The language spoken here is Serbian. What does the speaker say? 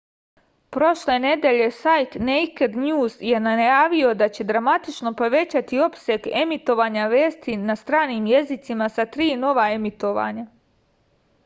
prošle nedelje sajt nejked njuz je najavio da će dramatično povećati opseg emitovanja vesti na stranim jezicima sa tri nova emitovanja